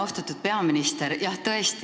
Austatud peaminister!